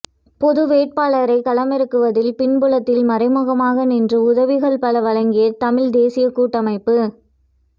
பொது வேட்பாளரைக் களமிறக்குவதில் பின்புலத்தில் மறைமுகமாக நின்று உதவிகள் பல வழங்கிய தமிழ்த் தேசியக் கூட்டமைப்பு